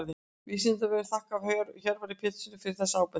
Vísindavefurinn þakkar Hjörvari Péturssyni fyrir þessa ábendingu.